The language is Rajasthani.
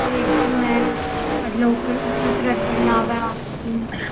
ओ एक जिम है अठे लोग कसरत करण आवै है आपकी।